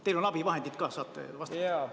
Teil on abivahendid ka, saate vastata.